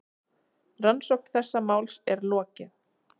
Rannsókn þessa máls er lokið.